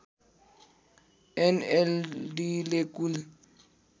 एनएलडीले कुल